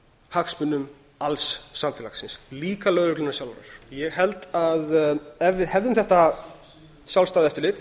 hagsmunum alls samfélagsins líka lögreglunnar sjálfrar ég held að ef við hefðum þetta sjálfstæða eftirlit